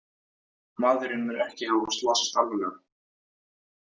Maðurinn mun ekki hafa slasast alvarlega